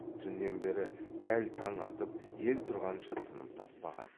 түннен бері дәл таң атып ел тұрғанша тыным таппаған